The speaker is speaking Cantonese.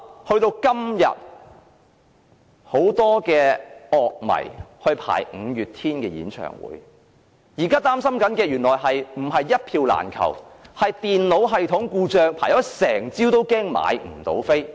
到了今天，很多樂迷排隊購買五月天演唱會的門票，但現在擔心的原來不是一票難求，而是電腦系統故障，即使輪候一整個早上也害怕買不到票。